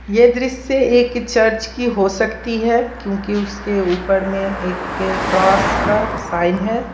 यह दृश्य एक चर्च की हो सकती है क्योंकि उसके ऊपर में एक क्रॉस का साइन है।